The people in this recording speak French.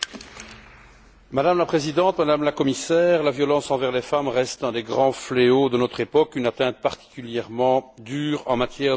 Madame la Présidente, Madame la Commissaire, la violence envers les femmes reste un des grands fléaux de notre époque, une atteinte particulièrement dure en matière de droits humains.